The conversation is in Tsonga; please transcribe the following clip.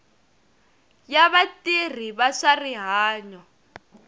ya vatirhi va swa rihanyo